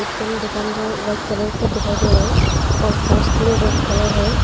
तीन दुकान जो व्हाइट कलर का दिखाई दे रहा है और पोस रेड कलर है।